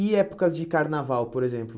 E épocas de carnaval, por exemplo?